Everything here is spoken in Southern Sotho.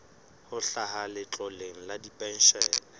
ho hlaha letloleng la dipenshene